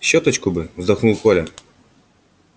щёточку бы вздохнул коля